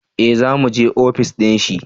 eh za mu je ofis dinshi